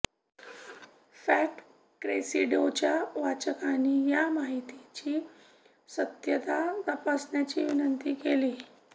fact क्रेसेंडोच्या वाचकांनी या माहितीची सत्यता तपासण्याची विनंती केली